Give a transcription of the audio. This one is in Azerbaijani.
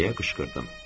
deyə qışqırdım.